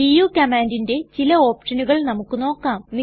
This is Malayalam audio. ഡു കമ്മാൻണ്ടിന്റെ ചില ഓപ്ഷനുകൾ നമുക്ക് നോക്കാം